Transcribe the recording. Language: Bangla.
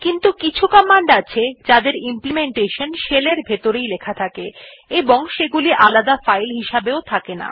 কিন্তু কিছু কমান্ড আছে যাদের ইমপ্লিমেন্টেশন shell এর ভিতরেই লেখা থাকে এবং সেগুলি আলাদা ফাইল হিসেবে থাকে না